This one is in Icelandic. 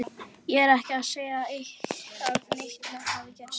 Ég er ekki að segja að neitt hafi gerst.